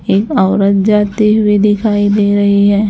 एक औरत जाते हुए दिखाई दे रही है।